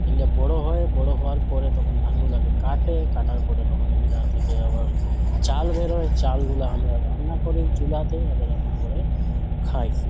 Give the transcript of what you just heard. এগুলা বড়ো হয়। বড়ো হওয়ার পরে তখন ধানগুলাকে কাটে। কাটার পরে থেকে চাল বেরোয়। চালগুলা আমরা রান্না করি চুলাতে। আবার রান্না করে খাই।